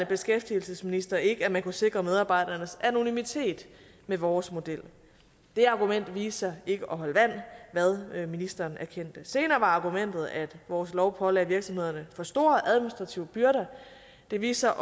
beskæftigelsesminister ikke at man kunne sikre medarbejdernes anonymitet med vores model det argument viste sig ikke at holde vand hvad ministeren erkendte senere var argumentet at vores lov pålagde virksomhederne for store administrative byrder det viste